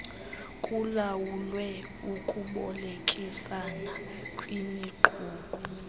kulawulwe ukubolekisana kwimiqulu